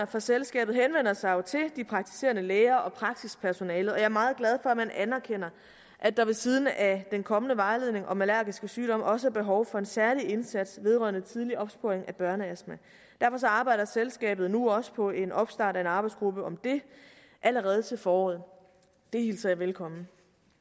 fra selskabet henvender sig jo til de praktiserende læger og praksispersonalet og jeg er meget glad for at man anerkender at der ved siden af den kommende vejledning om allergiske sygdomme også er behov for en særlig indsats vedrørende tidlig opsporing af børneastma derfor arbejder selskabet nu også på en opstart af en arbejdsgruppe om det allerede til foråret det hilser jeg velkommen